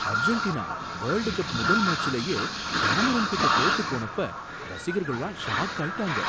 Argentina world cup முதல் மேச்சுலயே கேமரூன்கிட்ட தோத்துப் போனப்ப ரசிகர்கள்லாம் ஷாக் ஆயிட்டாங்க.